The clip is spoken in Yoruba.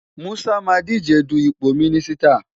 Musa máa díje du ipò mínísítà.